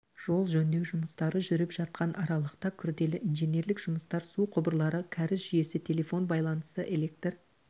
жол жөндеу жұмыстары жүріп жатқан аралықта күрделі инженерлік жұмыстар су құбырлары кәріз жүйесі телефон байланысы электр